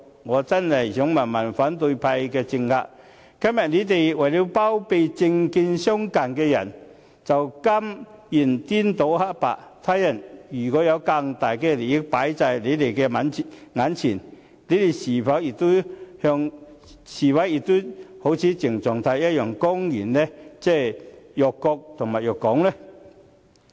我真想問問反對派的政客，今天為了包庇政見相近的人，便甘願顛倒黑白，他日若有更大利益擺在眼前，他們是否也會像鄭松泰一樣公然辱國辱港呢？